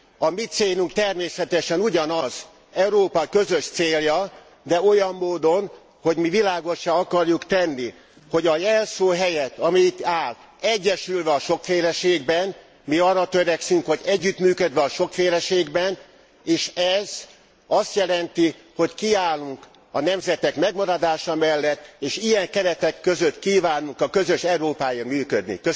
A mi célunk természetesen ugyanaz, Európa közös célja, de olyan módon, hogy mi világossá akarjuk tenni, hogy a jelszó helyett, ami itt áll, Egyesülve a sokféleségben mi arra törekszünk, hogy együttműködve a sokféleségben, és ez azt jelenti, hogy kiállunk a nemzetek megmaradása mellett, és ilyen keretek között kívánunk a közös Európáért működni.